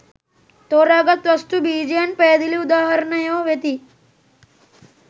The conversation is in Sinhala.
තෝරාගත් වස්තු බීජයන් පැහැදිලි උදාහරණයෝ වෙති.